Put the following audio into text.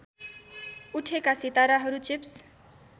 उठेका सिताराहरू चिप्स